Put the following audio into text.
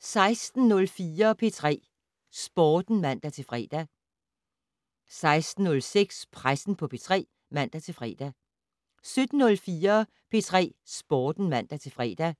16:04: P3 Sporten (man-fre) 16:06: Pressen på P3 (man-fre) 17:04: P3 Sporten (man-fre)